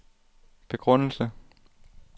begrundelse